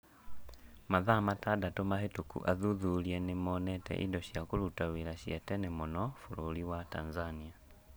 Mathaa matandatũ mahĩtũku athuthuria nĩ monete indo cia kũruta wĩra cia tene mũno bũrũri wa Tanzania.